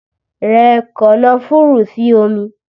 Rẹ kànnáfùrù sí omi!